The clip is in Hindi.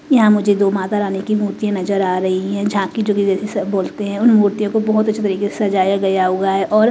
यहाँ मुझे दो माता रानी की मूर्तियाँ नजर आ रही हैं झाँकी जोकि बोलते हैं उन मूर्तियों को बहोत अच्छे तरीके से सजाया गया हुआ ऎॆॆेे और --